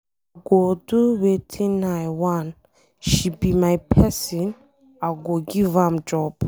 I go do wetin I wan, she be my person, I go give am job.